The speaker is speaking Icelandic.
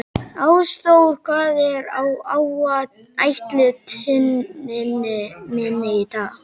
Ásþór, hvað er á áætluninni minni í dag?